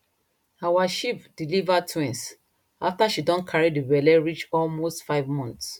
our sheep deliver twins after she don carry the belle reach almost five months